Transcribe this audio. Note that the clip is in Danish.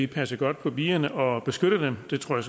passe godt på bierne og beskytte dem og det tror